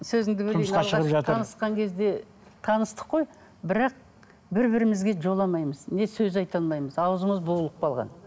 сөзіңді бөлейін танысқан кезде таныстық қой бірақ бір бірімізге жоламаймыз не сөз айта алмаймыз ауызымыз буылығып қалған